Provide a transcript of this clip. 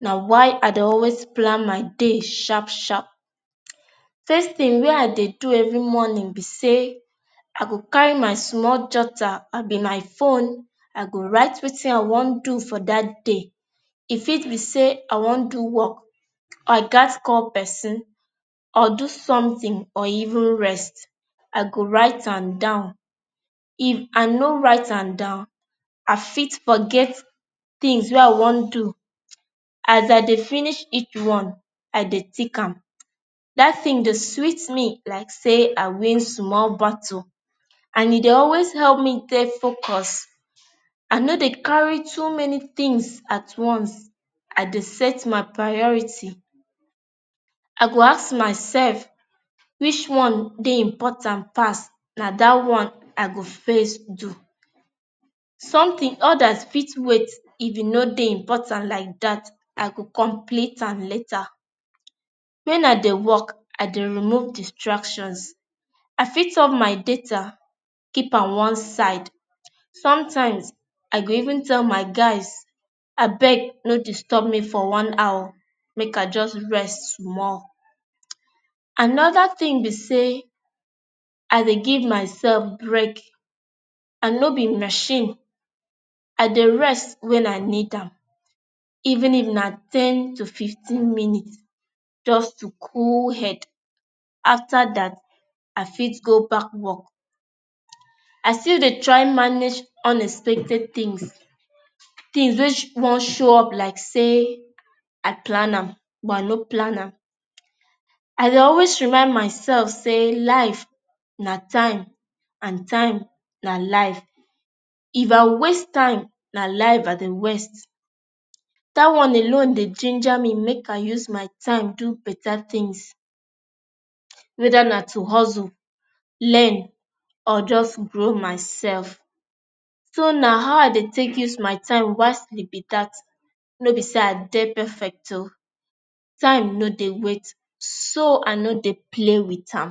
Na why I dey always plan my day sharp sharp. first thing wey I dey do every morning be say I go carry my small jotter abi my phone. I go write Wetin i wan do for that day. E fit be say I wan do work or i gats call pesin or do something or even rest, I go write am down. If I no write am down, I fit forget things wey I wan do. As I dey finish each one, I dey tick am. That thing dey sweet me like say I win Small battle and e dey always help me dey focus. I no dey carry too many things at once. I dey set my priority I go ask myself which one dey important pass, na that one I go first do. Some thing others fit dey if e no dey if e dey important like that I go complete am later. When I dey work i dey remove distractions. I fit off my data keep am one side. Some times I go even tell my guys, Abeg no disturb me for one hour. make I just rest small. Another thing be say I dey give myself break. I no be machine. I Dey rest when I need am, even if na ten to fifteen minutes just to cool head. After that, I fit go back work. I still dey try manage unexpected things. Things wey sh wan show up like say j plan am but I no plan am. I dey always remind myself say life na time and time na life. If I waste time, na life I Dey waste. That one alone dey ginger me make I use my time do better things. Weda na to hustle, learn or just grow myself. so na how I dey take use my time wisely be that. No be say i dey perfect oo. Time no dey wait so I no dey play with am.